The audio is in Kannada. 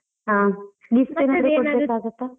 ಹಾ .